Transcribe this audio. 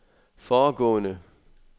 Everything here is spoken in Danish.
foregående